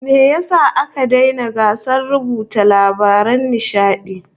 Me yasa aka daina gasar runuta labaran nishadi?